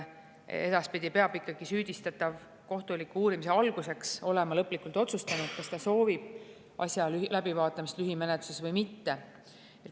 Edaspidi peab süüdistatav kohtuliku uurimise alguseks olema lõplikult otsustanud, kas ta soovib asja läbivaatamist lühimenetluses või mitte.